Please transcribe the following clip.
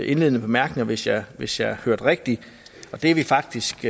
indledende bemærkninger hvis jeg hvis jeg hørte rigtigt det er vi faktisk